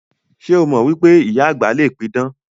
Ṣé o mọ wípé ìyá àgbà le pidàn?